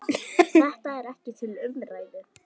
Þetta er ekki til umræðu.